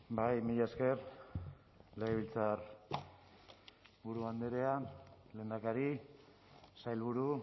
bai mila esker legebiltzarburu andrea lehendakari sailburu